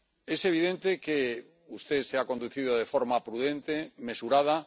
Es evidente que usted se ha conducido de forma prudente, mesurada.